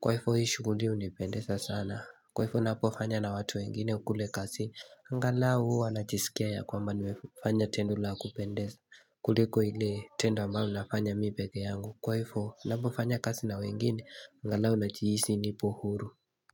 Kwa hivo hii shughuli hunipendeza sana kwa hivo napofanya na watu wengine kule kazini angalau huwa najisikia ya kwamba nimefanya tendo la kupendeza kuliko ile tendo ambalo nafanya mimi peke yangu kwa hivo napofanya kazi na wengine angalau najihisi nipo huru.